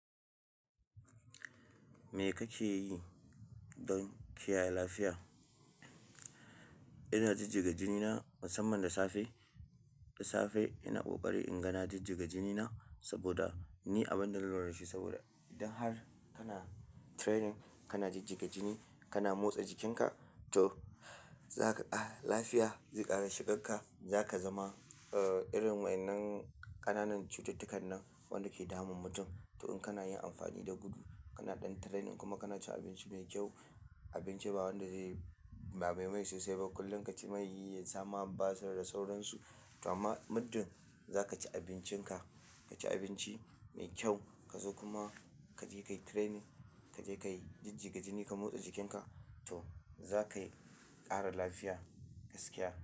Me kake yi don kiyaye lafiya? Ina jijjiga jini na musamman da safe. Da safe ina ƙoƙari in ga na jijjiga jini na saboda ni abin da na lura dashi saboda idan har kana training, kana jijjiga jini, kana motsa jikinka, to zaka ƙara lafiya, zai ƙara shigar ka, zaka zama, uh, irin wannan ƙananan cututtukan nan wanda ke damun mutum. To in kana yin amfani da gudu, kana ɗan training kuma kana cin abinci mai kyau, abinci ba wanda zai bame mai sosai ba. Kullum ka ci mai, ya sama, basir da sauransu. To amma muddin za ka ci abincinka, ka ci abinci mai kyau ka zo kuma kaje kayi training, kaje kayi jijjiga jini ka motsa jikinka to za ka ƙara lafiya gaskiya.